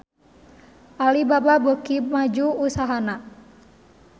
Alibaba beuki maju usahana